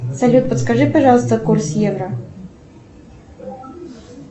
салют подскажи пожалуйста курс евро